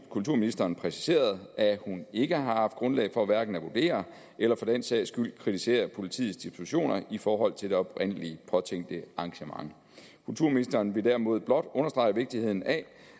kulturministeren præciseret at hun ikke har haft grundlag for hverken at vurdere eller for den sags skyld kritisere politiets dispositioner i forhold til det oprindelig påtænkte arrangement kulturministeren ville derimod blot understrege vigtigheden af